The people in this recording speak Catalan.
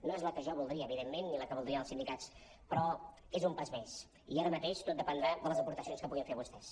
no és la que jo voldria evidentment ni la que voldrien els sindicats però és un pas més i ara mateix tot dependrà de les aportacions que puguin fer vostès